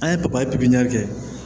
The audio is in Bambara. An ye papaye pipiniyɛri kɛ